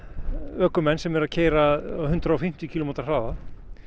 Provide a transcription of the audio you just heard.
ökumenn sem eru að keyra á hundrað og fimmtíu kílómetra hraða